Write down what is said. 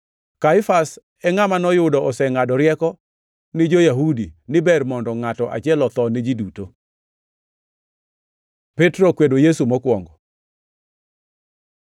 Kaifas e ngʼama noyudo osengʼado rieko ni jo-Yahudi ni ber mondo ngʼato achiel otho ni ji duto. Petro okwedo Yesu mokwongo